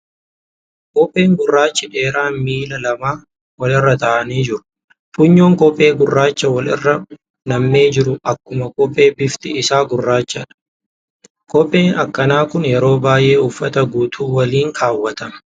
Kophee gurraachi dheeraan miila lamaa wal irra taa'anii jiru . Funyoo kophee gurraacha wal irra nammee jiruu akkuma kophee bifti isaa gurraacha. Kopheen akkanaa kun yeroo baay'ee uffata guutuu waliin keewwatama.